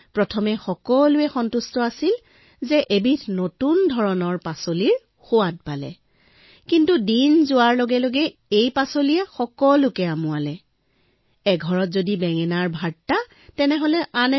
অৰ্থাৎ প্ৰথমে সকলো সুখী হল কিয়নো তেওঁলোকে নতুন পাচলি লাভ কৰিছে কিন্তু দিন যোৱাৰ লগে লগে সকলোৰে মন তিতা পৰি আহিবলৈ ধৰিলে